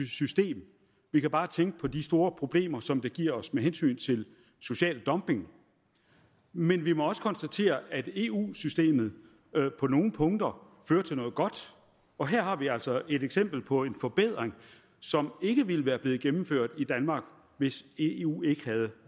system vi kan bare tænke på de store problemer som det giver os med hensyn til social dumping men vi må også konstatere at eu systemet på nogle punkter fører til noget godt og her har vi altså et eksempel på en forbedring som ikke ville være blevet gennemført i danmark hvis eu ikke havde